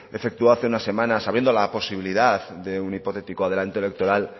efectuó hace unas semanas abriendo la posibilidad de un hipotético adelanto electoral